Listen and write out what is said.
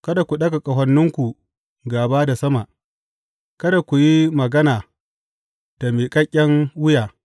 Kada ku ɗaga ƙahoninku gāba da sama; kada ku yi magana da miƙaƙƙen wuya.’